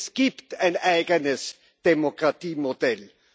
Es gibt ein eigenes Demokratiemodell.